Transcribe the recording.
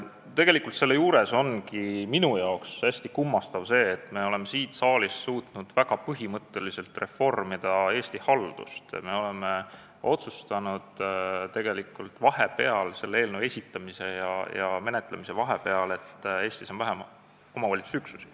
Tegelikult on selle juures minu arvates hästi kummastav see, et me oleme siin saalis suutnud väga põhimõtteliselt reformida Eesti haldust ja me oleme otsustanud vahepeal – selle eelnõu esitamise ja menetlemise vahepeal –, et Eestis on nüüd vähem omavalitsusüksusi.